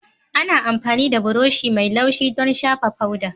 Ana amfani da buroshi mai laushi don shafa foda